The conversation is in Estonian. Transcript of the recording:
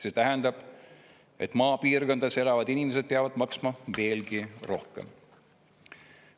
See tähendab, et maapiirkondades elavad inimesed peavad maksma veelgi rohkem.